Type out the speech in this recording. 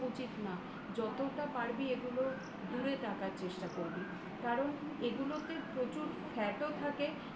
উচিত না। যতটা পারবি এগুলো দূরে রাখার চেষ্টা করবি কারণ এগুলোতে প্রচুর fat ও থাকে